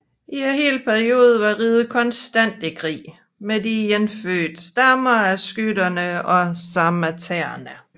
I hele perioden var riget konstant i krig med de indfødte stammer af skytere og sarmatere